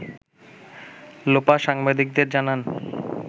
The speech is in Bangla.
লোপা সাংবাদিকদের জানান